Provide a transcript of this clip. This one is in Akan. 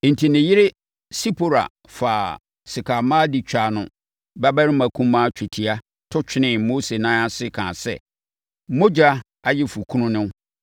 Enti, ne yere Sipora faa sekammoa de twaa ne babarima kumaa twetia to twenee Mose nan ase kaa sɛ, “Mmogya ayeforɔkunu ne wo.”